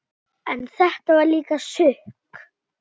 En þetta var líka sukk.